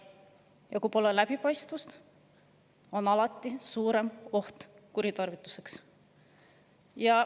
Ja kui pole läbipaistvust, on alati suurem oht kuritarvituseks.